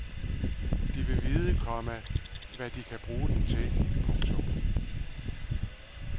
De vil vide, komma hvad de kan bruge den til. punktum